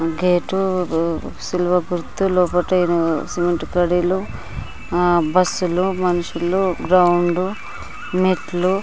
gate cement కడిలు ఆ బస్సులు మనుషులు గ్రౌండు మెట్లు--